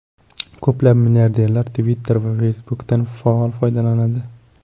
Ko‘plab milliarderlar Twitter va Facebook’dan faol foydalanadi.